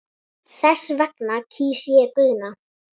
Þess vegna kýs ég Guðna.